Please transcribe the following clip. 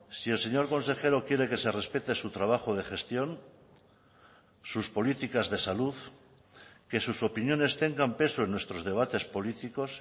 si el señor consejero quiere que se respete su trabajo de gestión sus políticas de salud que sus opiniones tengan peso en nuestros debates políticos